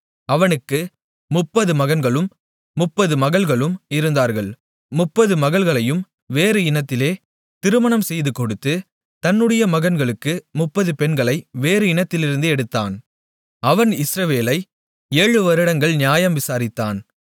அவனுக்கு 30 மகன்களும் 30 மகள்களும் இருந்தார்கள் 30 மகள்களையும் வேறு இனத்திலே திருமணம் செய்துகொடுத்து தன்னுடைய மகன்களுக்கு 30 பெண்களை வேறு இனத்திலிருந்து எடுத்தான் அவன் இஸ்ரவேலை ஏழு வருடங்கள் நியாயம் விசாரித்தான்